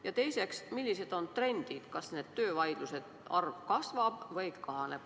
Ja teiseks, millised on trendid: kas töövaidluste arv kasvab või kahaneb?